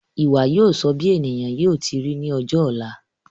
Ìwà yóò sọ bí ènìyàn yóò ti ri ní ọjọ ọ̀la